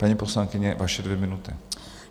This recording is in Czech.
Paní poslankyně, vaše dvě minuty.